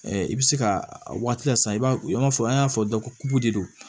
i bɛ se ka a waati lase i b'a ye i b'a fɔ an y'a fɔ dɔ ko de don